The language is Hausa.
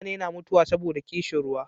mutane na mutuwa saboda ƙishin ruwa